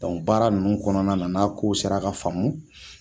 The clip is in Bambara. baara nunnu kɔnɔna na n'a kow sera ka faamu